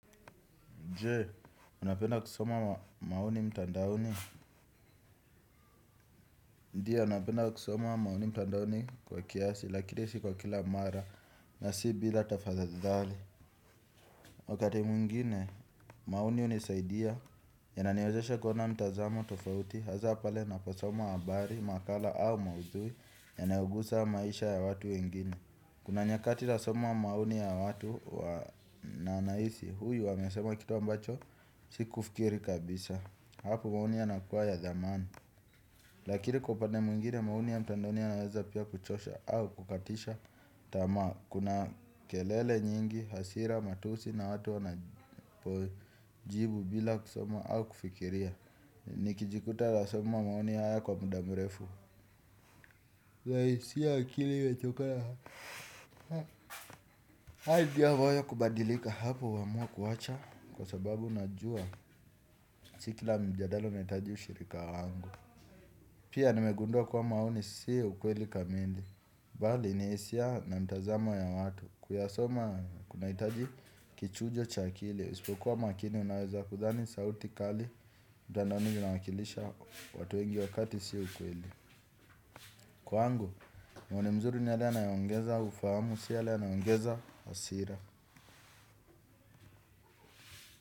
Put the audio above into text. Jee, unapenda kusoma ma maoni mtandaoni? Ndiyo, napenda kusoma maoni mtandaoni kwa kiasi, lakini si kwa kila mara, na si bila tafadhali. Wakati mwingine, maoni hunisaidia, yananiwezesha kuona mtazamo tofauti, hasa pale naposoma habari, makala au maudhui, yanayogusa maisha ya watu wengine. Kuna nyakati nasoma maoni ya watu wa na nahisi, huyu wamesema kitu ambacho, sikufikiri kabisa. Hapo maoni yanakua ya zamani. Lakini kwa upande mwingine maoni ya mtandaoni yanaweza pia kuchosha au kukatisha tamaa kuna kelele nyingi, hasira, matusi na watu wanajibu bila kusoma au kufikiria. Nikijikuta nasoma maoni haya kwa muda mrefu. Naisi akili imechoka haa. Haja ya moyo kubadilika hapo huamua kuacha kwa sababu najua sikila mjadala unahitaji ushirika wangu. Pia nimegundua kua maoni si ukweli kamili. Mbali na hisia na mtazamo ya watu kuyasoma kunahitaji kichujo cha akili usipokuwa makini unaweza kudhani sauti kali mtandaoni kunawakilisha watu wengi wakati sio ukweli. Kwangu, maoni mazuri ni yale yanayo ongeza ufahamu. Sio yale yanayo ongeza hasira.